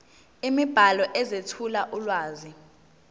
imibhalo ezethula ulwazi